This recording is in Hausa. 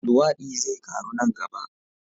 Luwadi zai karu nan gaba.